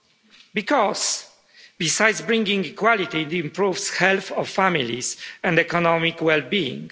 Because besides bringing equality, it improves the health of families and economic well being.